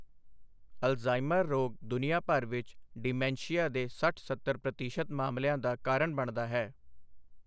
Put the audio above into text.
Alzheimer ਰੋਗ ਦੁਨੀਆ ਭਰ ਵਿੱਚ ਡਿਮੈਂਸ਼ੀਆ ਦੇ ਸੱਠ ਸੱਤਰ ਪ੍ਰਤੀਸ਼ਤ ਮਾਮਲਿਆਂ ਦਾ ਕਾਰਨ ਬਣਦਾ ਹੈ।